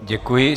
Děkuji.